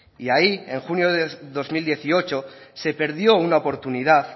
y ahí en junio de dos mil dieciocho se perdió una oportunidad